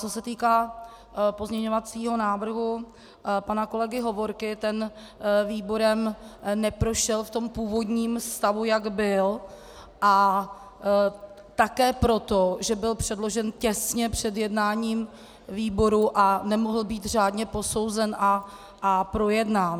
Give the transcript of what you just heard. Co se týká pozměňovacího návrhu pana kolegy Hovorky, ten výborem neprošel v tom původním stavu, jak byl, a také proto, že byl předložen těsně před jednáním výboru a nemohl být řádně posouzen a projednán.